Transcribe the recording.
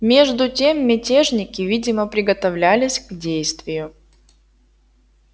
между тем мятежники видимо приготовлялись к действию